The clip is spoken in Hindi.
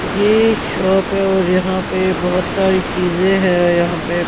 ये एक शॉप है और यहां पे बहुत सारी चीजें हैं यहां पे--